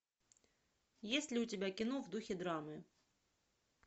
есть ли у тебя кино в духе драмы